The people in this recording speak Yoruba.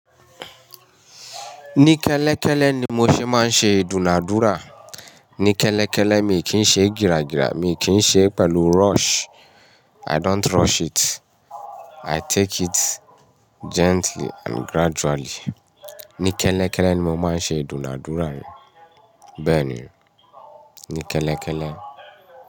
Ní kẹ́lẹ́kẹ́lẹ́ ni mo ṣe máa ń ṣe ìdúnàádúrà. Ní kẹ́lẹ́kẹ́lẹ́, mi kì í ṣe gira gira, mi kì í ṣe pẹ̀lú rush. I don't rush it. I take it gently and gradually. Ní kẹ́lẹ́kẹ́lẹ́ ni mo máa ń ṣe ìdúnàádúrà mi. Bẹ́ẹ̀ ni, ní kẹ́lẹ́kẹ́lẹ́.